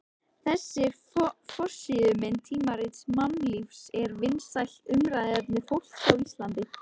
Þessi forsíðumynd tímaritsins Mannlífs var vinsælt umræðuefni fólks á Íslandi.